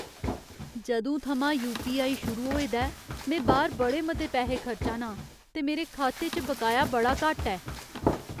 जदूं थमां U P I. शुरू होए दा ऐ, में बाह्‌र बड़े मते पैहे खर्चा ना आं ते मेरे खाते च बकाया बड़ा घट्ट ऐ।